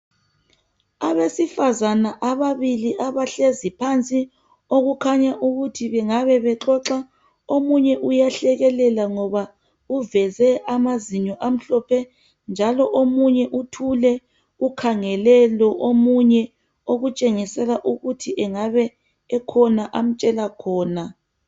Abesifazana ababili abahlezi phansi okukhanya ukuthi bengabe bexoxa .Omunye uyahlekelela ngoba uveze amazinyo amhlophe. Njalo omunye uthule ukhangele lo omunye okutshengisela ukuthi engabe ekhona amtshela khona.